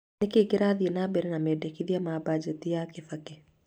Nĩ kĩĩ kĩrathiĩ na mbere na mendekithia ma mbanjeti ya kibaki